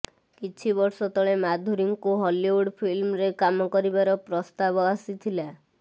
କିଛି ବର୍ଷ ତଳେ ମାଧୁରୀଙ୍କୁ ହଲିଉଡ୍ ଫିଲ୍ମରେ କାମ କରିବାର ପ୍ରସ୍ତାବ ଆସିଥିଲା